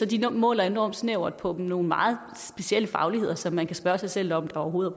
de måler enormt snævert på nogle meget specielle fagligheder som man kan spørge sig selv om der overhovedet